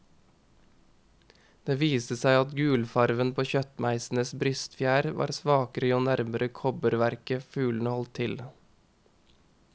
Det viste seg at gulfarven på kjøttmeisenes brystfjær var svakere jo nærmere kobberverket fuglene holdt til.